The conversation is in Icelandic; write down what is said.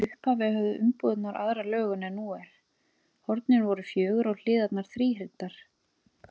Í upphafi höfðu umbúðirnar aðra lögun en nú er: hornin voru fjögur og hliðarnar þríhyrndar.